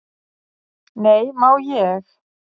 """Nei, má ég!"""